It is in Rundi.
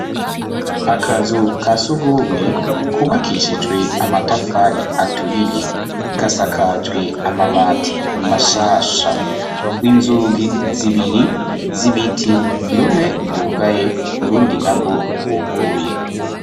akazu ka sugumwe kubakishijwe amatafari aturiye gasakajwe amabati mashasha w'inzugi zibiri z'ibiti rumwe rwugaye urundi nago rwuguruye